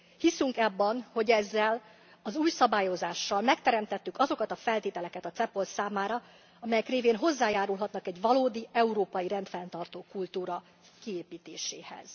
Hiszünk abban, hogy ezzel az új szabályozással megteremtettük azokat a feltételeket a CEPOL számára, amelyek révén hozzájárulhatnak egy valódi európai rendfenntartó kultúra kiépítéséhez.